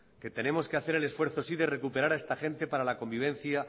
que tenemos que hacer el esfuerzo sí de recuperar a esta gente para la convivencia